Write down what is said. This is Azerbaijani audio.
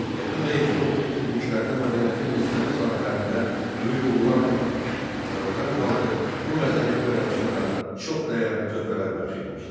Qədim və erkən orta əsirliklərdə mədəniyyətin müxtəlif sahələrində böyük uğurlar qazanmış Azərbaycan xalqı bu mədəni oyanışa da çox dəyərli töhfələr bəxş etmişdir.